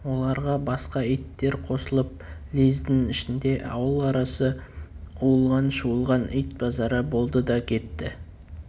оларға басқа иттер қосылып лездің ішінде ауыл арасы уылған-шуылған ит базары болды да кетті